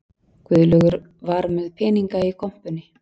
Guðlaugur var með peninga í kompunni